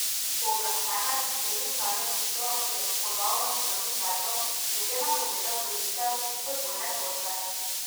Pooblaščenec delničarja Žito, ki je podal nasprotni predlog, je že napovedal vložitev izpodbojne tožbe.